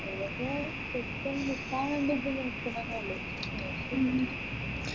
ചിലത് പെട്ടെന്ന് നിക്കാനുള്ള ഇതിൽ നിക്കുന്നെന്നെ ഉള്ളു